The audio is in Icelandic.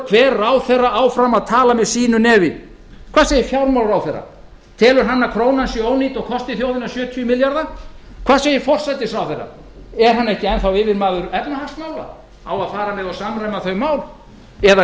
hver ráðherra áfram að tala hver með sínu nefi hvað segir fjármálaráðherra telur hann að krónan sé ónýt og kosti landsmenn sjötíu milljarða hvað segir forsætisráðherra er hann ekki yfirmaður efnahagsmála á að fara með og samræma þau mál eða